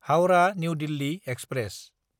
Howrah New Delhi express